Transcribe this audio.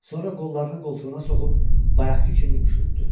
Sonra qollarını qoltuğuna soxub bayaqkı kimi üşütdü.